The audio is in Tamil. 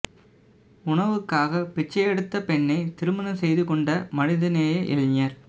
உணவுக்காக பிச்சை எடுத்த பெண்ணை திருமணம் செய்து கொண்ட மனிதநேய இளைஞர்